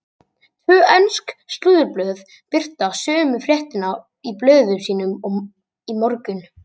Tvö ensk slúðurblöð birta sömu fréttina í blöðum sínum í morgun.